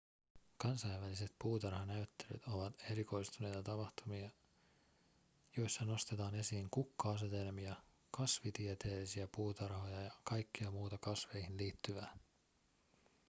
kansainväliset puutarhanäyttelyt ovat erikoistuneita tapahtumia joissa nostetaan esiin kukka-asetelmia kasvitieteellisiä puutarhoja ja kaikkea muuta kasveihin liittyvää